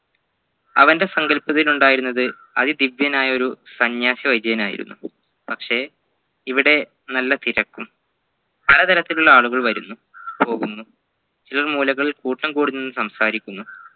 അവൻ്റെ സങ്കല്പത്തിൽ ഉണ്ടായിരുന്നത് അതി ദിവ്യനായ ഒരു സന്യാസി വൈദ്യനായിരുന്നു പക്ഷെ ഇവിടെ നല്ല തിരക്കും പലതരത്തിലുള്ള ആളുകൾ വരുന്നു പോകുന്നു ചിലർ മൂലകൾ കൂട്ടം കൂടി നിന്ന് സംസാരിക്കുന്നു